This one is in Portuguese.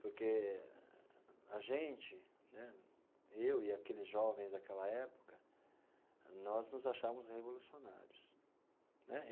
Porque a gente né, eu e aqueles jovens daquela época, nós nos achávamos revolucionários né.